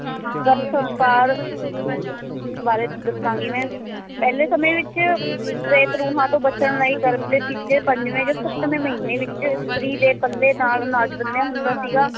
ਗਰਭ ਸੰਸਕਾਰ ਬਾਰੇ ਦੱਸਾਂਗੀ ਮੈਂ ਪਹਿਲੇ ਸਮੇਂ ਵਿੱਚ ਪ੍ਰੇਤ ਰੂਹਾਂ ਤੋਂ ਬਚਣ ਲਈ ਗਰਭ ਦੇ ਤੀਜੇ, ਪੰਜਵੇ ਜਾਂ ਸੱਤਵੇ ਮਹੀਨੇ ਵਿੱਚ ਇਸਤਰੀ ਦੇ ਪੱਲੇ ਨਾਲ ਅਨਾਜ ਬੰਨ੍ਹਿਆ ਹੁੰਦਾ ਸੀਗਾ